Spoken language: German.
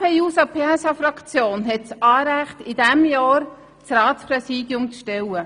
Die SP-JUSO-PSA-Fraktion hat das Anrecht, in diesem Jahr das Ratspräsidium zu stellen.